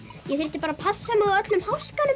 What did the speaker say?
ég þyrft bara að passa mig á öllum